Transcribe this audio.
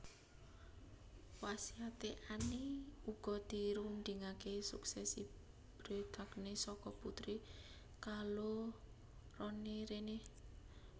Wasiate Anne uga dirundingaké suksesi Bretagne saka putri kaloroné Renee